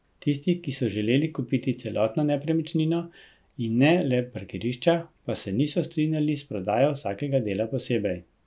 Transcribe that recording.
Tisti, ki so želeli kupiti celotno nepremičnino, in ne le parkirišča, pa se niso strinjali s prodajo vsakega dela posebej.